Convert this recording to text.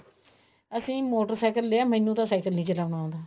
ਅਸੀਂ ਮੋਟਰਸਾਇਕਲ ਲਿਆ ਮੈਨੂੰ ਤਾਂ ਸਾਇਕਲ ਣ ਚਲਾਉਣ ਆਉਂਦਾ